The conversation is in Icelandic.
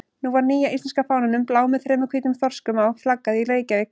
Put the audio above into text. Nú var nýja íslenska fánanum, bláum með þremur hvítum þorskum á, flaggað í Reykjavík.